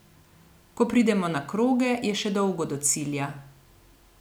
Ko pridemo na kroge, je še dolgo do cilja.